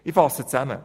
Ich fasse zusammen: